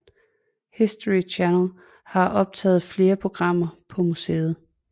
History Channel har optaget flere programmer på museet